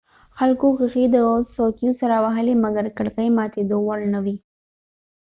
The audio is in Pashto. خلکو ښیښي د څوکیو سره وهلي مګر کړکۍ ماتېدو وړ نه وې